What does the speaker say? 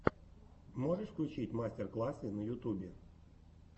можешь включить мастер классы на ютубе